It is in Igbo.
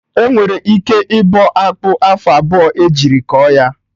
Enwere ike ịbọ akpụ afọ abụọ ejiri kọ ya